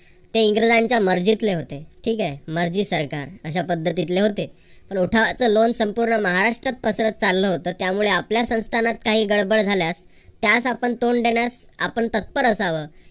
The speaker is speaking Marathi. ते इंग्रजांच्या मर्जीतले होते. ठीक आहे. मर्जी सरकार अशा पद्धतीतले होते. उठावाच लोण संपूर्ण महाराष्ट्रात पसरत चाललं होतं. त्यामुळे आपल्या संस्थानात काही गडबड झाल्यास त्यास आपण तोंड देण्यास आपण तत्पर असावं.